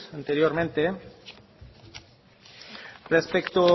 anteriormente respecto